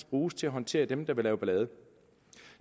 bruges til at håndtere dem der vil lave ballade